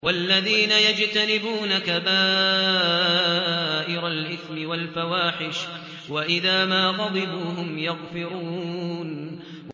وَالَّذِينَ يَجْتَنِبُونَ كَبَائِرَ الْإِثْمِ وَالْفَوَاحِشَ وَإِذَا مَا غَضِبُوا هُمْ يَغْفِرُونَ